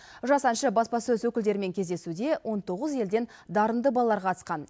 жас әнші баспасөз өкілдерімен кездесуде он тоғыз елден дарынды балалар қатысқан